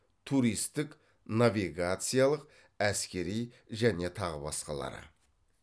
туристік навигациялық әскери және тағы басқалары